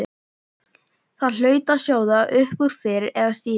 Það hlaut að sjóða upp úr fyrr eða síðar.